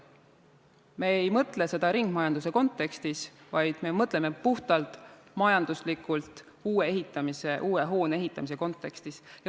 Me ei mõtle ringmajanduse kontekstis, vaid me mõtleme puhtalt majanduslikult, uue hoone ehitamise kontekstis.